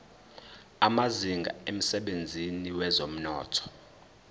amazinga emsebenzini wezomnotho